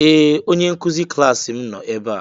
Ee! Onye nkụzi klaasị m nọ ebe a.